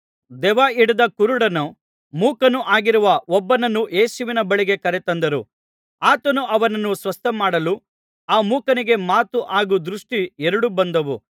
ದೆವ್ವ ಹಿಡಿದ ಕುರುಡನೂ ಮೂಕನೂ ಆಗಿರುವ ಒಬ್ಬನನ್ನು ಯೇಸುವಿನ ಬಳಿಗೆ ಕರೆತಂದರು ಆತನು ಅವನನ್ನು ಸ್ವಸ್ಥಮಾಡಲು ಆ ಮೂಕನಿಗೆ ಮಾತು ಹಾಗೂ ದೃಷ್ಟಿ ಎರಡೂ ಬಂದವು